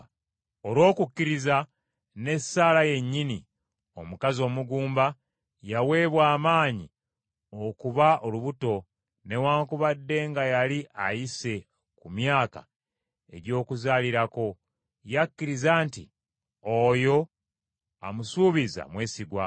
Olw’okukkiriza ne Saala yennyini, omukazi omugumba yaweebwa amaanyi okuba olubuto newaakubadde nga yali ayise ku myaka egy’okuzaalirako; yakkiriza nti oyo amusuubizza mwesigwa.